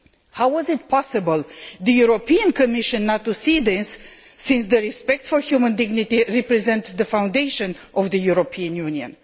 How was it possible for the European Commission not to see this, since respect for human dignity represents the foundation of the European Union?